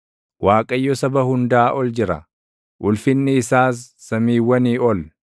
Waaqayyo saba hundaa ol jira; ulfinni isaas samiiwwanii ol.